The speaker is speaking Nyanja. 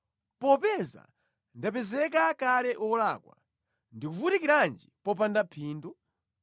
Popeza ndapezeka kale wolakwa ndivutikirenji popanda phindu?